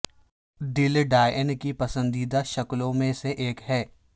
دل ڈائن کی پسندیدہ شکلوں میں سے ایک ہے